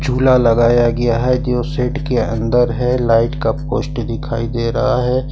झूला लगाया गया है जो सेट के अंदर है लाइट का पोस्ट दिखाई दे रहा है।